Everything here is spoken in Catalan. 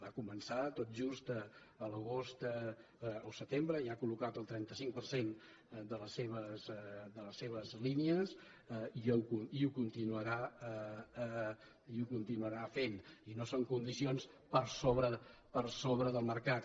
va començar tot just a l’agost o el setembre i ha col·locat el trenta cinc per cent de les seves línies i ho continuarà fent i no són condicions per sobre del mercat